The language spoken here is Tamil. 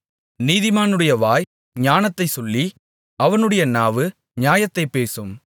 நீதிமானுடைய வாய் ஞானத்தை சொல்லி அவனுடைய நாவு நியாயத்தைப் பேசும்